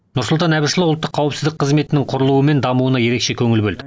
нұрсұлтан әбішұлы ұлттық қауіпсіздік қызметінің құрылуы мен дамуына ерекше көңіл бөлді